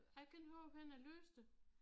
Jeg kan ikke huske hvorhenne jeg læste det